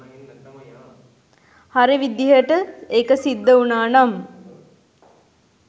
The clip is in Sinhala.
හරි විදිහට ඒක සිද්ධ වුණානම්